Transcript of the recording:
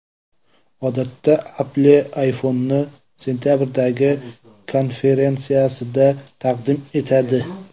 Odatda Apple ayfonni sentabrdagi konferensiyasida taqdim etadi.